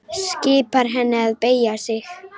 Skipar henni að beygja sig.